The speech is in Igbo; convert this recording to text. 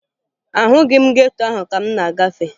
Ahụghị m geto ahụ ka m na-agafe